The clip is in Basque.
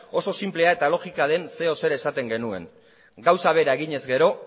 oso sinplea eta logika den zer edo zer esaten genuen gauza bera egin ezkero